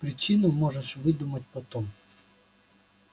причину можешь выдумать потом